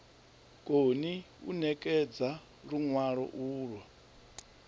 koni u ṋekedza luṅwalo ulwo